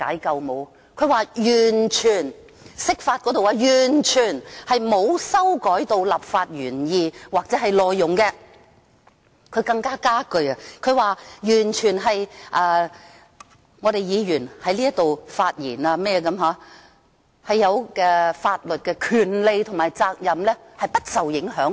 他說釋法完全沒有修改立法原意或內容，更加了一句說議員在立法會發言的法律權利及責任完全不受影響。